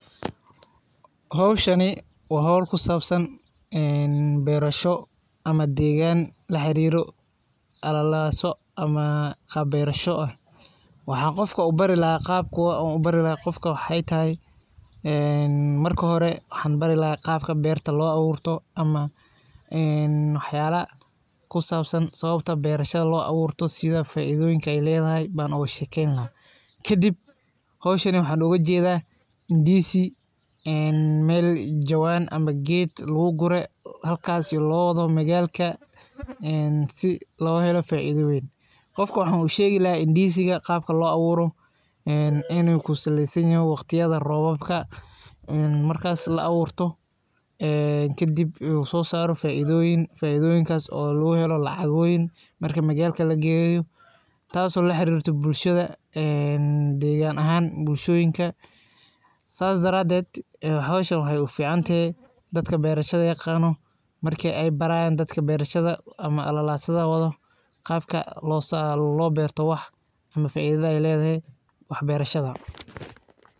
Hawshani waa hawl ku sabsan ee beerasho ama deegan laxariiro alalasa ama qaab beerasho ah. Waxaan qofka u bari laha qaabka aan u bari laha qofka waxay tahay marka hore waxaan bari laha qaabka beerta loo abuurto ama ee waxayaala ku sabsan sababta beerashada loo abuurto sida faidooyinka ay leedahay baan og sheken laha. Kadib hawshan waxaan oga jeeda indiisi ee mel jawan ama geed lagugure halkasi oo loo wado magalka si loohelo faido wayn. Qofka waxaan u sheegi indiisiga qaabka loo abuura inu ku saleysanyahay waqtiyda roobabka ee markas la abuurto ee kadib u soosaro faidooyin faiidooyinkas oo lagahelo lacagooyin marka magalka lageeyo. Taaso laxarirta bulshada deegan ahaan bulshooyinka sas daradeed hawshan waxay u fiicantehe dadka beerashada yaqano marka ay barayan dadka beerashada ama alalaasada wado qaabka loo beerto wax ama faaidada ay leedahay waxbeerashada.